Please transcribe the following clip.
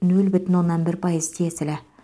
нөл бүтін оннан бір пайыз тиесілі